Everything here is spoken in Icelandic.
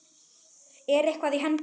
Er eitthvað í hendi?